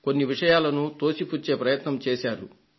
కొన్ని విషయాలను తోసిపుచ్చే ప్రయత్నం చేశారు